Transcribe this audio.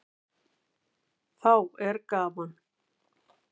Þá er gaman.